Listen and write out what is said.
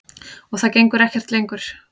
Og það gengur ekkert lengur.